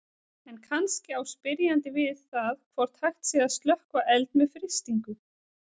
En kannski á spyrjandi við það hvort hægt sé að slökkva eld með frystingu.